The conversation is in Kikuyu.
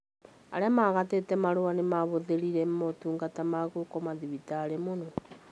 Arĩa magatĩte marũa nĩmahũthĩrire motungata ma gũkoma thibitarĩ mũno